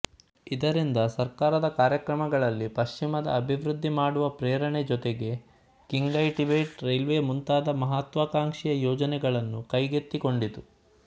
ಇದರಿಂದ ಸರಕಾರದ ಕಾರ್ಯಕ್ರಮಗಳಲ್ಲಿ ಪಶ್ಚಿಮದ ಅಭಿವೃದ್ಧಿ ಮಾಡುವ ಪ್ರೇರಣೆ ಜೊತೆಗೆ ಕಿನ್ಘೈಟಿಬೆಟ್ ರೈಲ್ವೆ ಮುಂತಾದ ಮಹತ್ವಾಕಾಂಕ್ಷೆಯ ಯೋಜನೆಗಳನ್ನು ಕೈಗೆತ್ತಿಕೊಂಡಿತು